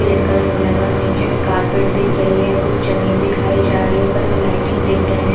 Green colour में लगा हुआ है निचे में कारपेट दिख रही है कुछ जमींन दिखाई जा रही है ऊपर में लायटिंग दिख रहे है।